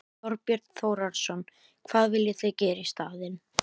Þorbjörn Þórðarson: Hvað viljið þið gera í staðinn?